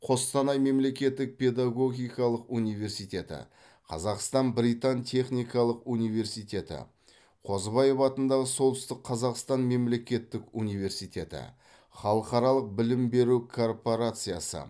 қостанай мемлекеттік педагогикалық университеті қазақстан британ техникалық университеті қозыбаев атындағы солтүстік қазақстан мемлекеттік университеті халықаралық білім беру корпорациясы